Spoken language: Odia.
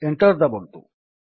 ଏଣ୍ଟର୍ ଦାବନ୍ତୁ